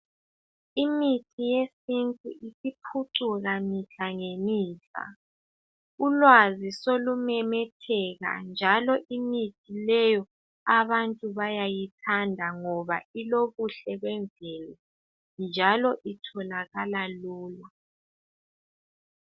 Imithi yesintu isiphucuka mihlangemihla. Ulwazi solumemetheka, njalo imithi leyi abantu bayayithanda ngoba ilobuhle bemvelo njalo itholakala lula.